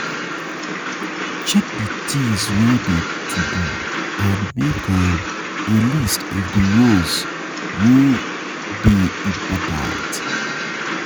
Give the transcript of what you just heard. Check di things wey dey to do and make um a list of di ones um wey dey um important